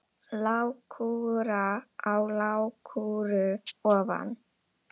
Lágkúra á lágkúru ofan.